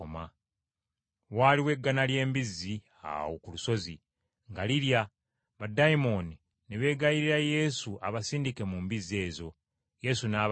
Waaliwo eggana ly’embizzi, awo ku lusozi, nga lirya, baddayimooni ne beegayirira Yesu abasindike mu mbizzi ezo. Yesu n’abakkiriza.